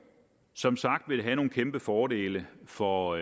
som sagt vil det have nogle kæmpe fordele for